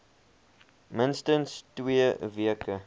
minstens twee weke